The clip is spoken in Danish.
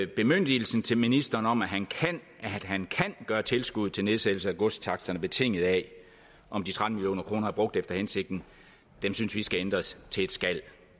bemyndigelsen til ministeren om at han kan gøre tilskuddet til nedsættelse af godstaksterne betinget af om de tretten million kroner er brugt efter hensigten skal ændres til et skal